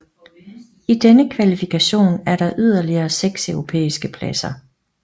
I denne kvalifikation er der yderligere 6 europæiske pladser